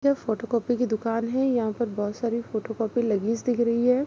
जो photo copy की दुकान है यहाँ पर बहुत सारी फोटो कॉपी लगीस दिख रही है।